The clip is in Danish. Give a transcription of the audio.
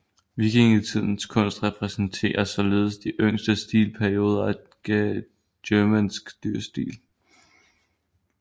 Vikingetidens kunst repræsenterer således de yngste stilperioder af germansk dyrestil